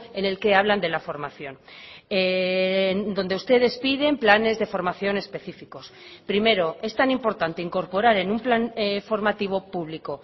en el que hablan de la formación donde ustedes piden planes de formación específicos primero es tan importante incorporar en un plan formativo público